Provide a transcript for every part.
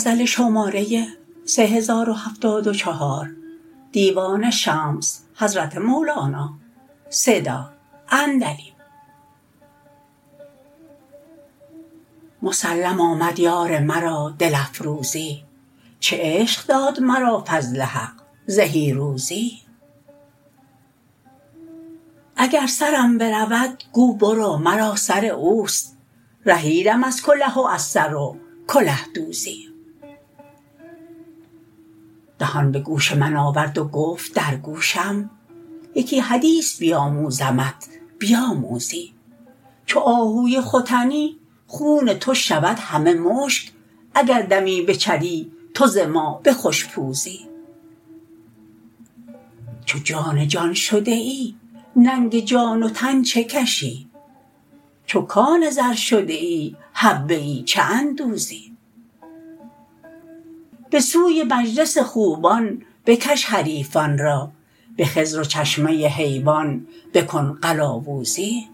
مسلم آمد یار مرا دل افروزی چه عشق داد مرا فضل حق زهی روزی اگر سرم برود گو برو مرا سر اوست رهیدم از کله و از سر و کله دوزی دهان به گوش من آورد و گفت در گوشم یکی حدیث بیاموزمت بیاموزی چو آهوی ختنی خون تو شود همه مشک اگر دمی بچری تو ز ما به خوش پوزی چو جان جان شده ای ننگ جان و تن چه کشی چو کان زر شده ای حبه ای چه اندوزی به سوی مجلس خوبان بکش حریفان را به خضر و چشمه حیوان بکن قلاوزی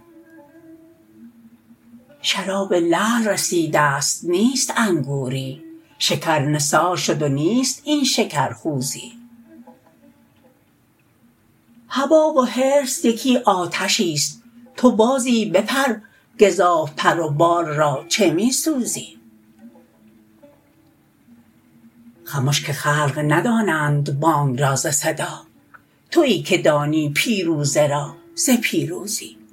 شراب لعل رسیده ست نیست انگوری شکر نثار شد و نیست این شکر خوزی هوا و حرص یکی آتشیست تو بازی بپر گزاف پر و بال را چه می سوزی خمش که خلق ندانند بانگ را ز صدا توی که دانی پیروزه را ز پیروزی